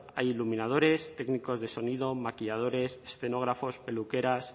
hay iluminadores técnicos de sonido maquilladores escenógrafos peluqueras